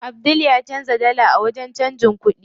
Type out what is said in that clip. Abdul ya canza dala a wajen canjin kuɗi.